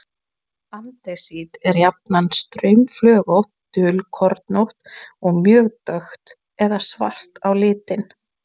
Gummi veinaði af skelfingu og Fía datt endilöng á gólfið og virtist vera stórslösuð.